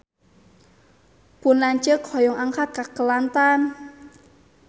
Pun lanceuk hoyong angkat ka Kelantan